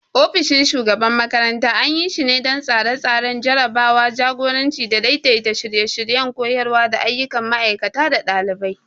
Ofishin shugaban makarantar anyi shine don Tsare-tsare, tsarawa, jagoranci da daidaita shirye-shiryen koyarwa da ayyukan ma'aikata da ɗalibai.